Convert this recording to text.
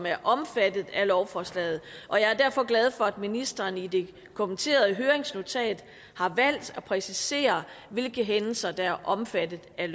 er omfattet af lovforslaget og jeg er derfor glad for at ministeren i det kommenterede høringsnotat har valgt at præcisere hvilke hændelser der er omfattet af